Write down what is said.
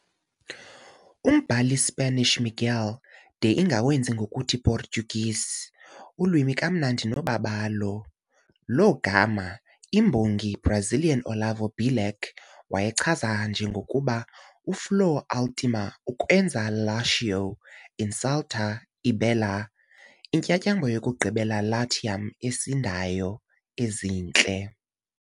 Umbhali Spanish Miguel de ingawenzi ngokuthi Portuguese, ulwimi kamnandi nobabalo, lo gama i-imbongi Brazilian Olavo Bilac wayichaza njengokuba, uFlor última ukwenza Lácio, inculta e Bela intyatyambo yokugqibela Latium, esindayo, ezintle.